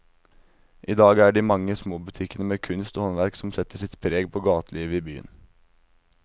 I dag er det de mange små butikkene med kunst og håndverk som setter sitt preg på gatelivet i byen.